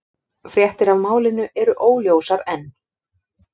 Fréttir af málinu eru óljósar enn